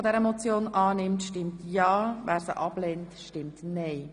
Wer diese annimmt, stimmt ja, wer sie ablehnt, stimmt nein.